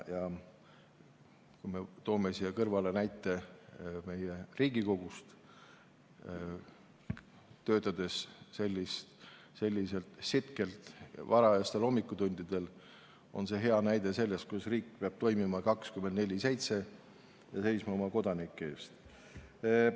Toome siia kõrvale näite Riigikogust: varajastel hommikutundidel siin sitkelt töötamine on hea näide sellest, kuidas riik peab 24/7 toimima ja oma kodanike eest seisma.